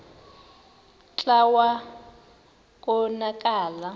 kclta wa konakala